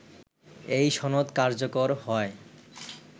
এই সনদ কার্যকর হয়